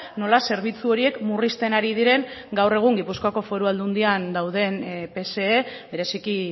nola zerbitzu horiek murrizten ari diren gaur egun gipuzkoako foru aldundian dauden pse bereziki